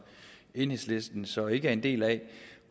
enhedslisten så ikke er en del af